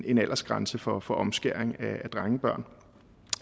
en aldersgrænse for for omskæring af drengebørn